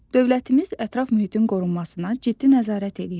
Dövlətimiz ətraf mühitin qorunmasına ciddi nəzarət eləyir.